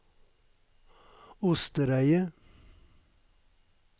Ostereidet